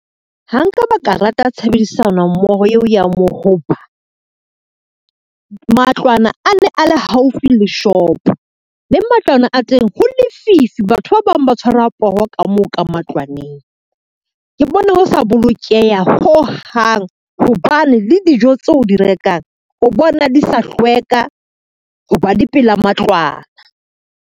Ha nka ba ka rata tshebedisano mmoho eo ya mo ho ba, matlwana a ne a le haufi le shopo, le matlwana a teng ho lefifi batho ba bang ba tshwarwa poho ka moo ka matlwaneng. Ke bone ho sa bolokeha ho hang hobane le dijo tse o di rekang, o bona di sa hlweka ho ba di pela matlwana.